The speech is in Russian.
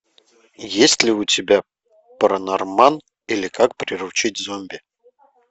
есть ли у тебя паранорман или как приручить зомби